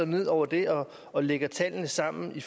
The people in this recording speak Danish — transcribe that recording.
ned over dem og lægger tallene sammen i